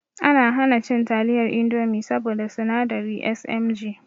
Ana hana cin taliyar indomi saboda sinadari SMG